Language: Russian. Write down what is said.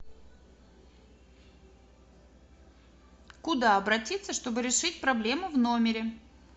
куда обратиться чтобы решить проблему в номере